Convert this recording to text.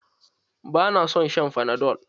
Ba na son shan fanadol.